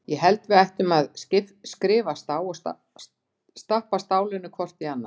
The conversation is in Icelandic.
Ég held að við ættum að skrifast á og stappa stálinu hvort í annað.